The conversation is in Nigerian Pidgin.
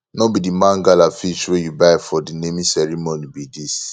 no be the mangala fish wey you buy for the naming ceremony be dis